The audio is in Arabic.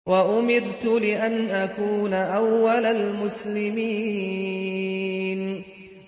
وَأُمِرْتُ لِأَنْ أَكُونَ أَوَّلَ الْمُسْلِمِينَ